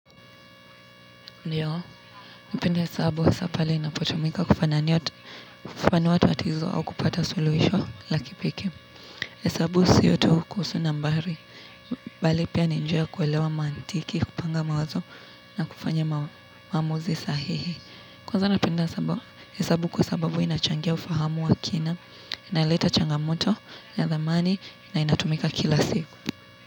Ndiyo, napenda hesabu hasa pale inapotumika kufananiot kufafanua tatizo au kupata suluhisho la kipikee. Hesabu siyo tu kuhusu nambari, bali pia ni njia kuelewa maantiki, kupanga mawazo na kufanya maa maamuzi sahihi. Kwanza napenda hesabu, hesabu kwa sababu inachangia ufahamu wa kina, inaleta changamoto, ya dhamani, na inatumika kila siku.